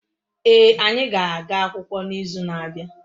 Ee, anyi ga-aga akwukwo n'izu na-abia